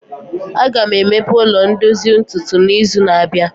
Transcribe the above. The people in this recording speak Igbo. Aga m emepe ụlọ ndozu ntutu n'izu na-abịa